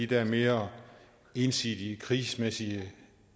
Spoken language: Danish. der mere ensidige krigsmæssige